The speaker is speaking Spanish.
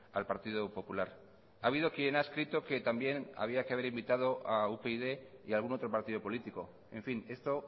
al partido popular ha habido quien ha escrito que también había que haber invitado a upyd y algún otro partido político en fin esto